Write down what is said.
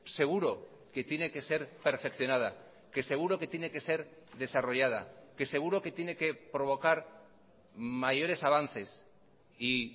seguro que tiene que ser perfeccionada que seguro que tiene que ser desarrollada que seguro que tiene que provocar mayores avances y